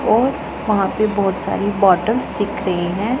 और वहां पे बहुत सारी बॉटल्स दिख रही हैं।